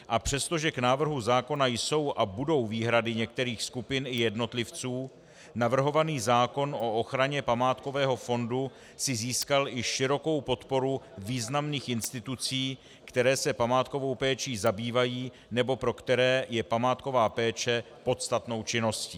A přestože k návrhu zákona jsou a budou výhrady některých skupin i jednotlivců, navrhovaný zákon o ochraně památkového fondu si získal i širokou podporu významných institucí, které se památkovou péčí zabývají nebo pro které je památková péče podstatnou činností.